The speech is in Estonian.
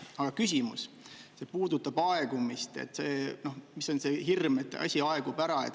Aga küsimus, see puudutab aegumist, mis on see hirm, et asi aegub ära.